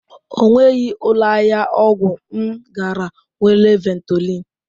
Ọ nweghị ụlọ ahịa ọgwụ m gara nwere Ventolin.